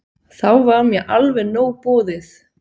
Þá var mér alveg nóg boðið.